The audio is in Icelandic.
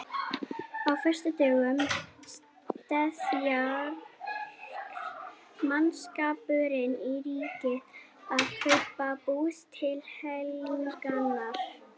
Á föstudögum steðjar mannskapurinn í Ríkið að kaupa bús til helgarinnar.